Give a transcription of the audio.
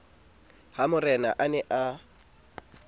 ha morena a ne a